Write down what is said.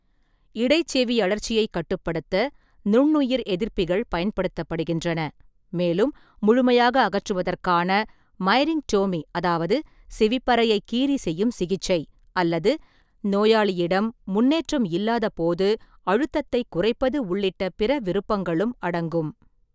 இடைச்செவியழற்சியைக் கட்டுப்படுத்த நுண்ணுயிர் எதிர்ப்பிகள் பயன்படுத்தப்படுகின்றன, மேலும் முழுமையாக அகற்றுவதற்கான மைரிங்டோமி அதாவது செவிப்பறையைக் கீறி செய்யும் சிகிச்சை, அல்லது நோயாளியிடம் முன்னேற்றம் இல்லாதபோது அழுத்தத்தைக் குறைப்பது உள்ளிட்ட பிற விருப்பங்களும் அடங்கும்.